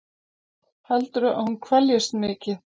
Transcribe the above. Heldurðu að hún kveljist mikið?